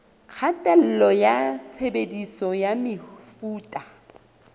kgatello ya tshebediso ya mefuta